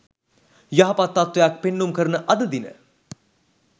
යහපත් තත්ත්වයක් පෙන්නුම් කරන අද දින